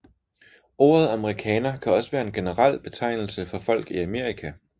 Ordet amerikaner kan også være en generel betegnelse for folk i Amerika